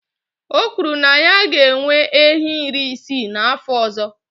O kwuru na ya ga-enwe ehi iri isii na afọ ọzọ